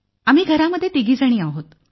आम्ही घरामध्ये तिघी आहोत